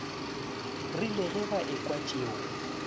rile ge ba ekwa tšeo